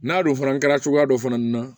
N'a don fana kɛra cogoya dɔ fana na